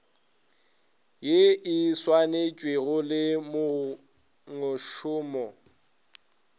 ye e saenetšwego le mongmošomo